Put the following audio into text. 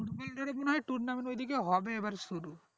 cricket এ tournament ঐদিকে হবে মনে হয় শুরু